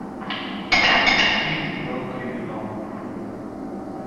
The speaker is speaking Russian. фильм про криминал